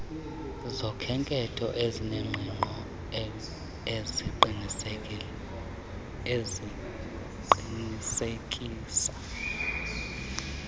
zokhenketho ezinengqiqo neziqinisekisa